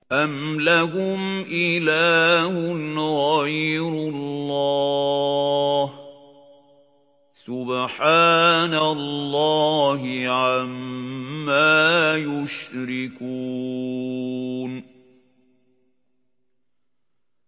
أَمْ لَهُمْ إِلَٰهٌ غَيْرُ اللَّهِ ۚ سُبْحَانَ اللَّهِ عَمَّا يُشْرِكُونَ